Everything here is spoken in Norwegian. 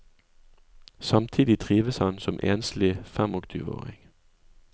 Samtidig trives han som enslig femogtyveåring.